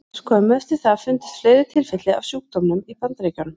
Skömmu eftir það fundust fleiri tilfelli af sjúkdómnum í Bandaríkjunum.